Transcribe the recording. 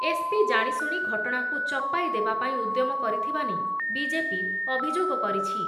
SP ଜାଣିଶୁଣି ଘଟଣାକୁ ଚପାଇଦେବା ପାଇଁ ଉଦ୍ୟମ କରିଥିବା ନେଇ ବିଜେପି ଅଭିଯୋଗ କରିଛି